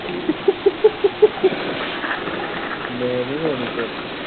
ਮੈਂ ਨਹੀਂ ਲੈਣੀ ਗਾਜਰ